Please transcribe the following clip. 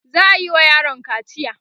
za'ayi wa yaron kaciya